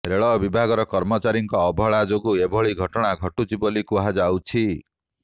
ରେଳ ବିଭାଗର କର୍ମଚାରୀଙ୍କ ଅବହେଳା ଯୋଗୁଁ ଏଭଳି ଘଟଣା ଘଟୁଛି ବୋଲି କୁହାଯାଉଛି